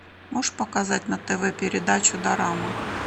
можешь показать на тв передачу дорама